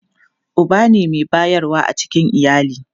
Uba ne mai bayarwa a cikin iyali.